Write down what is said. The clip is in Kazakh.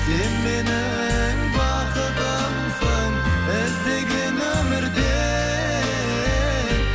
сен менің бақытымсың іздеген өмірде